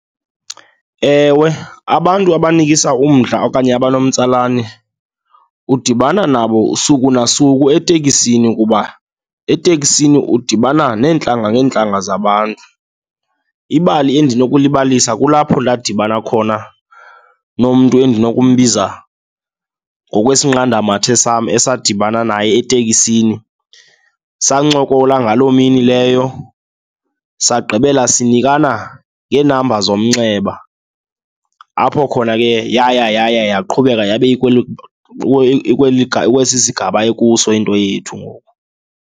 Ewe, abantu abanikisa umdla okanye abanomtsalane udibana nabo suku nasuku etekisini kuba eteksini udibana neentlanga ngeentlanga zabantu. Ibali endinokulibalisa kulapho ndadibana khona nomntu endinokumbiza ngokwesinqandamathe sam esadibana naye etekisini, sancokola ngaloo mini leyo, sagqibela sinikana ngeenamba zomnxeba. Apho khona ke yaya yaya yaqhubekeka yabe ikwesi sigaba ekuso into yethu ngoku.